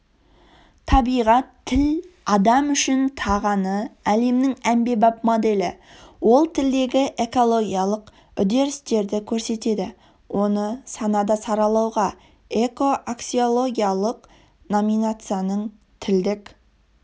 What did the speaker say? табиғат тіл адам үш тағаны әлемнің әмбебап моделі ол тілдегі экологиялық үдерістерді көрсетеді оны санада саралауға экоаксиологиялық номинацияның тілдік